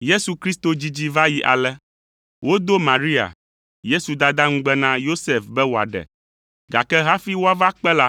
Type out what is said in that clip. Yesu Kristo dzidzi va yi ale: Wodo Maria, Yesu dada ŋugbe na Yosef be wòaɖe, gake hafi woava kpe la,